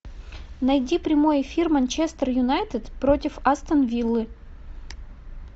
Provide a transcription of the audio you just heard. найди прямой эфир манчестер юнайтед против астон виллы